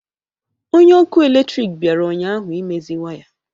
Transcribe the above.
Onye ọkụ eletrik bịara ụnyahụ imezi waya